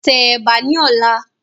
Tẹ Ẹ̀bà ni ọ̀la!